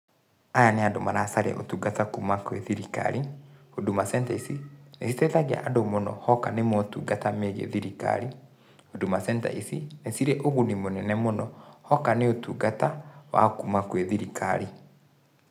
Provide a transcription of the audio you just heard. Aya nĩ andũ maracaria ũtungata kuma gwĩ thirikari Huduma Center ici nĩ citeithagia andũ mũno hoka nĩ motungata megie thirikari, Huduma Center ici nĩ cirĩ ũguni mũnene mũno hoka nĩ ũtungata wa kuma gwĩ thirikari.